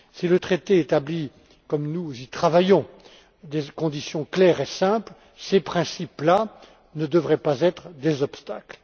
Si le traité établit, comme nous y travaillons, des conditions claires et simples, ces principes là ne devraient pas constituer des obstacles.